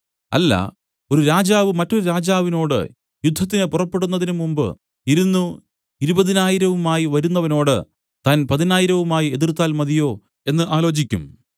അല്ല ഒരു രാജാവ് മറ്റൊരു രാജാവിനോടു യുദ്ധത്തിനു പുറപ്പെടുന്നതിന് മുമ്പ് ഇരുന്നു ഇരുപതിനായിരവുമായി വരുന്നവനോട് താൻ പതിനായിരവുമായി എതിർത്താൽ മതിയോ എന്നു ആലോചിക്കും